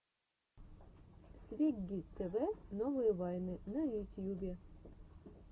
свегги тв новые вайны на ютьюбе